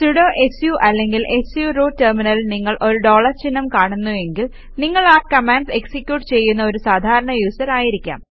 sudo su അല്ലെങ്കിൽ su root ടെര്മിനലിൽ നിങ്ങൾ ഒരു ഡോളർ ചിഹ്നം കാണുന്നു എങ്കിൽ നിങ്ങൾ ആ കമാൻഡ്സ് എക്സിക്യൂട്ട് ചെയ്യുന്ന ഒരു സാധാരണ യൂസർ ആയിരിക്കാം